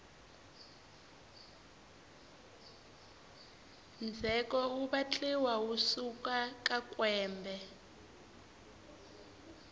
ndzheko wu vatliwa wu suka ka kwembe